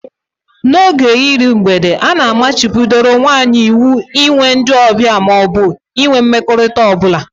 N'oge iru mgbede, a na-machibidoro nwaanyị iwu inwe ndị ọbịa ma ọ bụ ịnwe mmekọrịta ọ bụla.